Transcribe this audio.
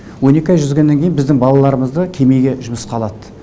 он екі ай жүзгеннен кейін біздің балаларымызды кемеге жұмысқа алады